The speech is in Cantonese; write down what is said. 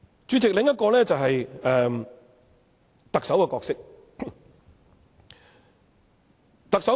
主席，另一個就是特首的角色。